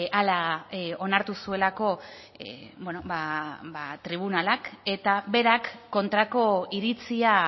hala onartu zuelako tribunalak eta berak kontrako iritzia